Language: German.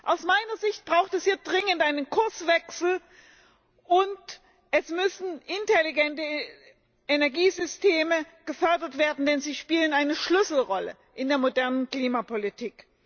Aus meiner Sicht braucht es hier dringend einen Kurswechsel, und es müssen intelligente Energiesysteme gefördert werden, denn sie spielen eine Schlüsselrolle in der modernen Klimapolitik.